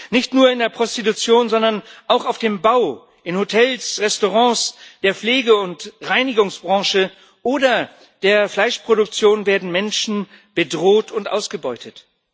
Nicht nur in der Prostitution, sondern auch auf dem Bau, in Hotels, Restaurants, der Pflege und der Reinigungsbranche oder der Fleischproduktion werden Menschen bedroht und ausgebeutet.